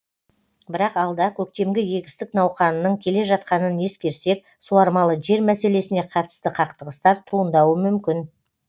бірақ алда көктемгі егістік науқанының келе жатқанын ескерсек суармалы жер мәселесіне қатысты қақтығыстар туындауы мүмкін